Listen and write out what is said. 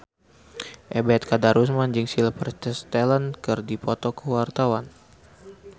Ebet Kadarusman jeung Sylvester Stallone keur dipoto ku wartawan